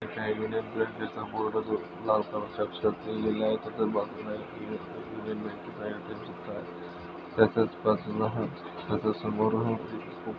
Union बँकेचा board जो लाल कलर च्या अक्षरात लिहलेला आहे त्याच्या बाजूला यूनियन बँकेचा शिक्का आहे. त्याच्याच बाजूला हा त्याच्याच समोर हा --